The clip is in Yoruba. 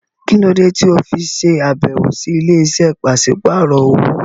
Kí ló dé tí o fi ṣàbẹ̀wò sí ilé-iṣẹ́ pàṣípàrọ̀ owó?